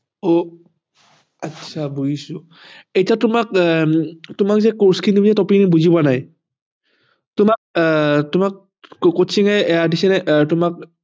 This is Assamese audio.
অ আচ্ছা বুজিছো এতিয়া তোমাক আহ তোমাক যে course খিনি যে topic বুজি পোৱা নাই তোমাক coaching এয়া দিছে নে তোমাক